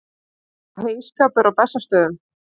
Heyskapur á Bessastöðum.